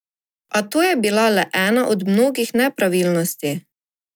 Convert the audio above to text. A to je bila le ena od mnogih nepravilnosti.